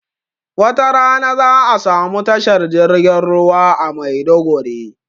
wata rana za'a samu tashar jirgin ruwa a Maiduguri